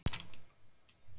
Ekki síður og jafnvel meira.